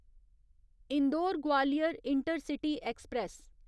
Indore Gwalior intercity express